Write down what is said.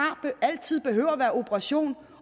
altid behøver at være operation